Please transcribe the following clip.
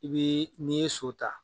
I bɛ n'i ye so ta.